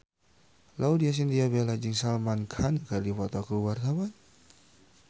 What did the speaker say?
Laudya Chintya Bella jeung Salman Khan keur dipoto ku wartawan